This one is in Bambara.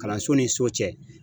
Kalanso ni so cɛ